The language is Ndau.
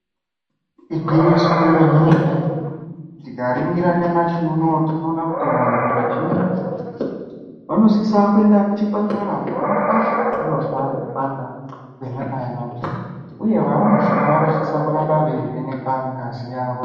Igwinyiso remene-mene, tikaringira nyamashi unowu tinoona kuti vantu zvizhinji, vanosisa kuenda kuchipatara, pona apo pavanozwa kupanda kwenyama yavo, uye varumbwana vanosisa kuramba veivhenekwa ngazi yavo.